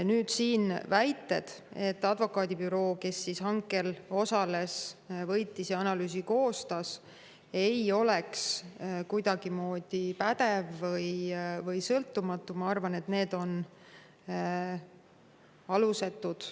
Need väited, nagu advokaadibüroo, kes hankel osales, selle võitis ja analüüsi koostas, ei oleks kuidagimoodi pädev või sõltumatu, ma arvan, on alusetud.